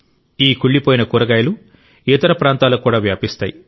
ఈ కుళ్లిపోయిన కూరగాయలు ఇతర ప్రాంతాలకు కూడా వ్యాపిస్తాయి